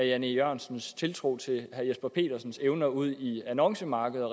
jan e jørgensens tiltro til herre jesper petersens evner ud i annoncemarkedet